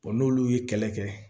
n'olu ye kɛlɛ kɛ